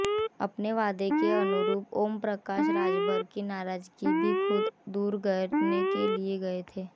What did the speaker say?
अपने वादे के अनुरूप ओम प्रकाश राजभर की नाराजगी भी खुद दूर करने गए थे